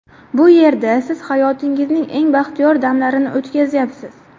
Bu yerda siz hayotingizning eng baxtiyor damlarini o‘tkazyapsiz.